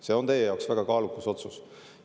See on teie jaoks väga kaalukas otsus.